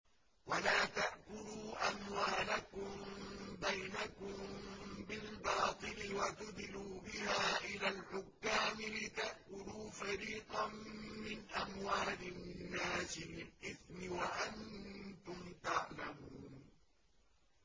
وَلَا تَأْكُلُوا أَمْوَالَكُم بَيْنَكُم بِالْبَاطِلِ وَتُدْلُوا بِهَا إِلَى الْحُكَّامِ لِتَأْكُلُوا فَرِيقًا مِّنْ أَمْوَالِ النَّاسِ بِالْإِثْمِ وَأَنتُمْ تَعْلَمُونَ